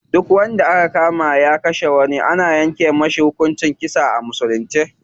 Duk wanda aka kama ya kashe wani ana yanke masa hukuncin kisa a musulunci.